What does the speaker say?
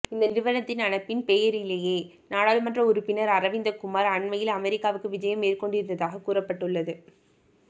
இந்த நிறுவனத்தின் அழைப்பின் பேரிலேயே நாடாளுமன்ற உறுப்பினர் அரவிந்த குமார் அண்மையில் அமெரிக்காவுக்கு விஜயம் மேற்கொண்டிருந்ததாக கூறப்பட்டுள்ளது